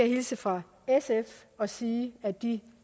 hilse fra sf og sige at de